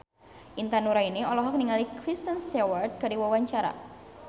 Intan Nuraini olohok ningali Kristen Stewart keur diwawancara